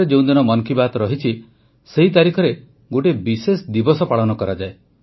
September ମାସରେ ଯେଉଁଦିନ ମନ୍ କି ବାତ୍ ରହିଛି ସେହି ତାରିଖରେ ଗୋଟିଏ ବିଶେଷ ଦିବସ ପାଳନ କରାଯାଏ